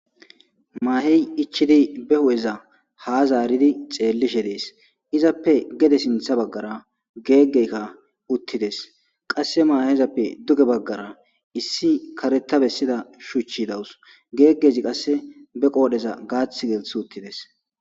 Mahey ichidi be hu'eza ha zaaro xelishe des izape gede sinthe bagara gegetka utides qase mahezape duge bagara issi karetida shuchiy des gegezi qase be qodheza gathi gelthi utides